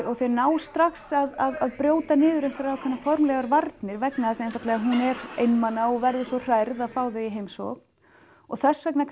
og þau ná strax að brjóta niður einhverjar formlegar varnir vegna þess einfaldlega að hún er einmana og verður svo hrærð að fá þau í heimsókn og þess vegna